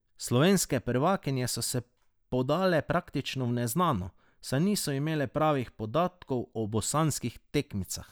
Slovenske prvakinje so se podale praktično v neznano, saj niso imele pravih podatkov o bosanskih tekmicah.